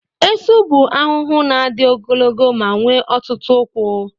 Esu bụ ahụhụ na-adị ogologo ma nwee ọtụtụ ụkwụ.